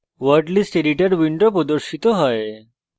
word list editor window প্রদর্শিত হয়